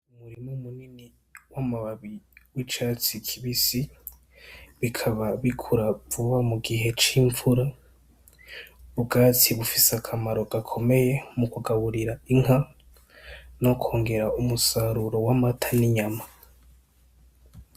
Umurima munini w’amababi y’icatsi kibisi bikaba bikura vuba mu gihe c’imvura , ubwatsi bufise akamaro gakomeye mukugaburira inka no kongera umusaruro w’amata n’inyama.